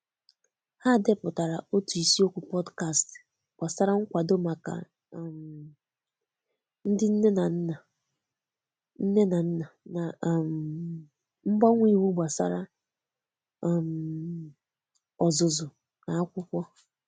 Ha depụtara otu isiokwu podcast gbasara nkwado maka um ndị nne na nna nne na nna na um mgbanwe iwu gbasara um ọzụzụ na akwụkwọ.